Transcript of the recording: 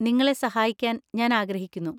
നിങ്ങളെ സഹായിക്കാൻ ഞാൻ ആഗ്രഹിക്കുന്നു.